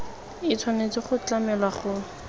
e tshwanetse go tlamelwa go